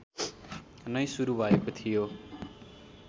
नै सुरु भएको थियो